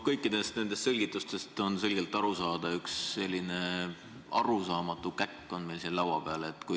Kõikidest nendest selgitustest on selgelt aru saada: üks arusaamatu käkk on meil siin laua peal.